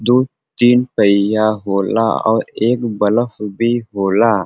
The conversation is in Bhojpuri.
दू तीन पईया होला औ एक बलफ भी होला।